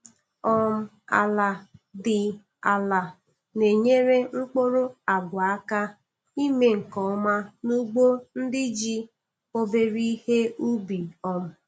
um Ala dị ala na-enyere mkpụrụ agwa aka ime nke ọma n'ugbo ndị ji obere ihe ubi um